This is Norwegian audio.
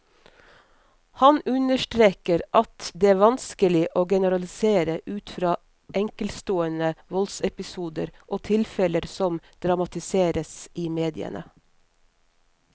Han understreker at det vanskelig å generalisere ut fra enkeltstående voldsepisoder og tilfeller som dramatiseres i mediene.